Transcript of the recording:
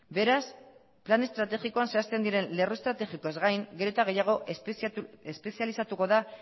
beraz plan estrategikoan zehazten diren lerro estrategikoez gain gero eta gehiago espezializatuko da